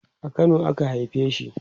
a Kano a ka haife shi